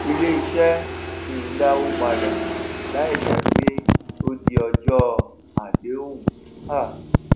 ilé iṣé kìí dàwó padà láì jé wípé ó di ọjó àdéhùn um